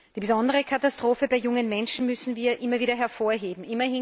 Die besondere Katastrophe bei jungen Menschen müssen wir immer wieder hervorheben.